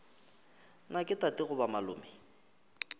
na ke tate goba malome